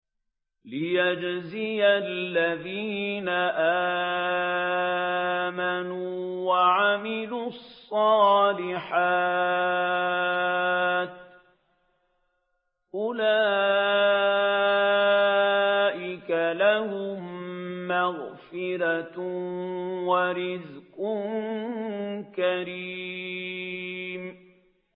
لِّيَجْزِيَ الَّذِينَ آمَنُوا وَعَمِلُوا الصَّالِحَاتِ ۚ أُولَٰئِكَ لَهُم مَّغْفِرَةٌ وَرِزْقٌ كَرِيمٌ